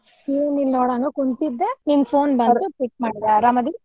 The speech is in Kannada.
ಏನಿಲ್ಲ ನೋಡ್ ಹಂಗ ಕುಂತಿದ್ದೆ ನಿನ್ phone pic ಮಾಡ್ದೆ ಅರಾಮದಿರಿ?